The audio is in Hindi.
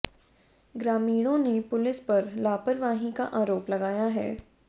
ग्रामीणों ने पुलिस पर लापरवाही का आरोप लगाया है